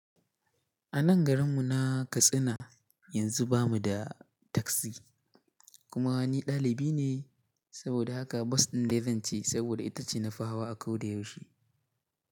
A nan garin mu na Katsina yanzu bamu da taksi kuma ni dalibi ne saboda haka bas din dai zance saboda itace nafi hawa a koda yaushe.